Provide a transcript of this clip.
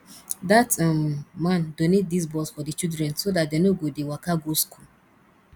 dat um man donate dis bus for the children so dat dey no go dey waka go school